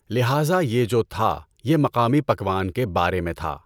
لہٰذا یہ جو تھا یہ مقامی پکوان کے بارے میں تھا۔